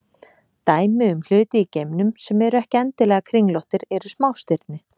Dæmi um hluti í geimnum sem eru ekki endilega kringlóttir eru smástirni.